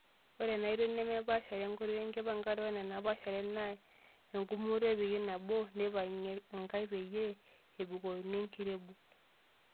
Ore enaoitoi nemepaashare enkoitoi enkipangare ore enepasahare naa engumoto epikii nabo neipangae enkae peyie eibookino enkirebuk.